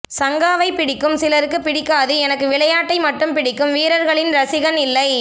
சங்காவை பிடிக்கும் சிலருக்கு பிடிக்காது எனக்கு விளையாட்டை மட்டும் பிடிக்கும் வீரர்களின் ரசிகன் இல்லை